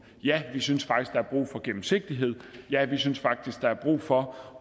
ja vi synes faktisk er brug for gennemsigtighed ja vi synes faktisk at der er brug for